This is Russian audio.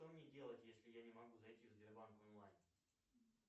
что мне делать если я не могу зайти в сбербанк онлайн